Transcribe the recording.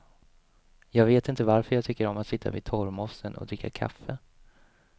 Jag vet inte varför jag tycker om att sitta vid torvmossen och dricka kaffe.